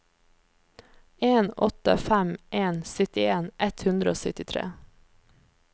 en åtte fem en syttien ett hundre og syttitre